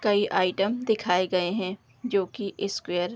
कई आइटम दिखाए गए हैं जो की स्क्वायर --